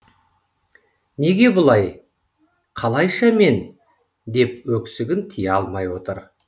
неге бұлай қалайша мен деп өксігін тия алмай отыр